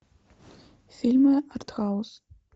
фильмы арт хаус